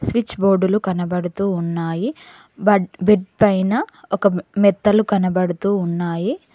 Switch బోర్డులు కనబడుతూ ఉన్నాయి బెడ్ పైన ఒక మెత్తలు కనబడుతూ ఉన్నాయి.